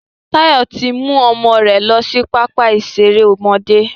Tayọ tí mú ọmọ rẹ lọ sí pápá ìṣeré ọmọdé